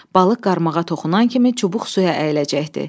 Balıq qarmağa toxunan kimi çubuq suya əyiləcəkdi.